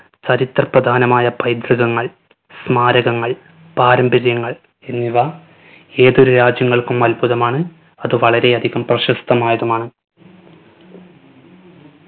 ചരിത്ര പ്രധാനമായ പൈതൃകങ്ങൾ സ്മാരകങ്ങൾ പാരമ്പര്യങ്ങൾ എന്നിവ ഏതൊരു രാജ്യങ്ങൾക്കും അത്ഭുതമാണ് അത് വളരെയധികം പ്രശസ്തമായതുമാണ്.